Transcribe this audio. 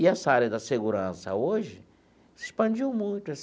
E essa área da segurança, hoje, se expandiu muito.